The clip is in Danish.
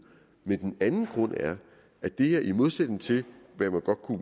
den anden grund er at det her i modsætning til hvad man